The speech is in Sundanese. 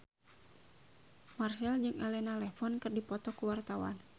Marchell jeung Elena Levon keur dipoto ku wartawan